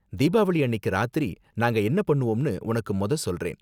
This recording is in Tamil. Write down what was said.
தீபாவளி அன்னிக்கு ராத்திரி நாங்க என்ன பண்ணுவோம்னு உனக்கு மொத சொல்றேன்.